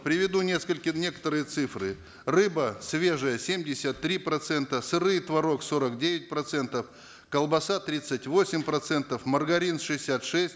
приведу несколько некоторые цифры рыба свежая семьдесят три процента сыры и творог сорок девять процентов колбаса тридцать восемь процентов маргарин шестьдесят шесть